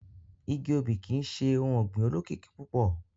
Igi obì kii ṣe ohun ọgbin olokiki pupọ.